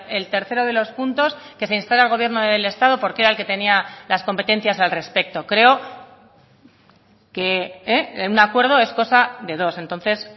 el tercero de los puntos que se instara al gobierno del estado porque era el que tenía las competencias al respecto creo que un acuerdo es cosa de dos entonces